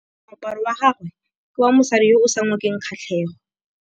Moaparô wa gagwe ke wa mosadi yo o sa ngôkeng kgatlhegô.